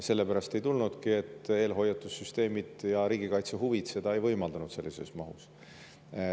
Sellepärast ei tulnudki, et eelhoiatussüsteemid ja riigikaitse huvid seda ei võimaldanud sellises mahus.